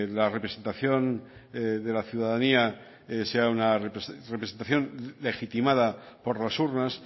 la representación de la ciudadanía sea una representación legitimada por las urnas